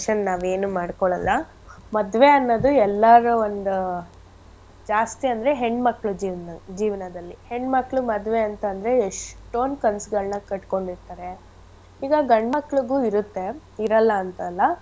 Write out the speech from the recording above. ನಾವೇನು ಮಾಡ್ಕೊಳಲ್ಲ. ಮದ್ವೆ ಅನ್ನೋದು ಎಲ್ಲಾರ್ ಒಂದ್ ಜಾಸ್ತಿ ಅಂದ್ರೆ ಹೆಣ್ ಮಕ್ಳ್ ಜೀವನ್ದಲ್~ ಜೀವನದಲ್ಲಿ. ಹೆಣ್ ಮಕ್ಳ್ ಮದ್ವೆ ಅಂತ್ ಅಂದ್ರೆ ಎಷ್ಟೊಂದ್ ಕನ್ಸ್ಗಳನ ಕಟ್ಕೊಂಡಿರ್ತಾರೆ. ಇವಾಗ್ ಗಂಡ ಮಕ್ಳಿಗು ಇರತ್ತೆ ಇರಲ್ಲ ಅಂತ್ ಅಲ್ಲ.